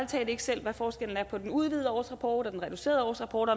talt ikke selv hvad forskellen er på den udvidede årsrapport og den reducerede årsrapport